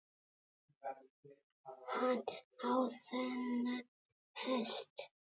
Hann á þennan hest.